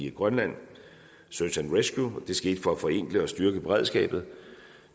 i grønland search and rescue beredskabet det skete for at forenkle og styrke beredskabet